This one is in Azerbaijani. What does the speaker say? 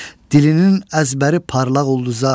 Dilinin əzbəri parlaq ulduza.